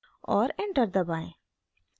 और enter दबाएं